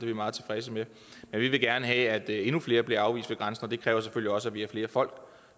vi meget tilfredse med men vi vil gerne have at endnu flere bliver afvist ved grænsen og det kræver selvfølgelig også at vi har flere folk